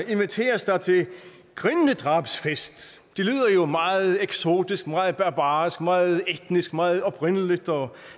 inviteres der til grindedrabsfest og meget eksotisk meget barbarisk meget etnisk meget oprindeligt og